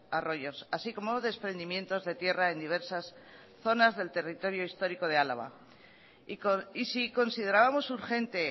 arroyos así como desprendimientos de tierra en diversas zonas del territorio histórico de álava y si considerábamos urgente